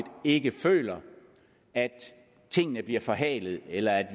ikke føler at tingene bliver forhalet eller at